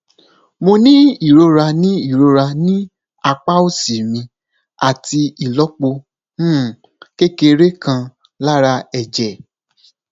mo ní ìrora ní ìrora ní apá òsì mi àti ìlópo um kékeré kan lára ẹjẹ